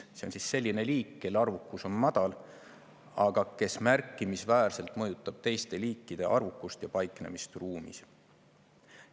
See on selline liik, kelle arvukus on madal, aga kes märkimisväärselt mõjutab teiste liikide arvukust ja paiknemist ruumis.